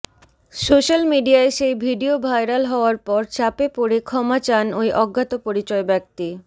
social মিডিয়ায় সেই video viral হওয়ার পর চাপে পড়ে ক্ষমা চান ওই অজ্ঞাতপরিচয় ব্যক্তি